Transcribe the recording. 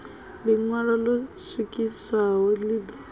ḽiṋwalo ḽo swikiswaho ḽi ḓo